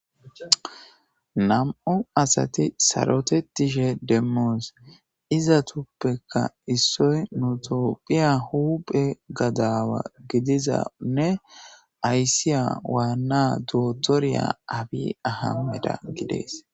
nam'u asati sarotetishe demmoos izatuuppekka issoy nu tophiya huuphe gadaawa gidizanne ayssiya waanna dootoriya abi ahameda gidees